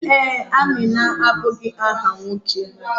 Ee, Amina abụghị áhà nwoke.